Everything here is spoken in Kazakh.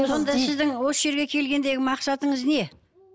сонда сіздің осы жерге келгендегі мақсатыңыз не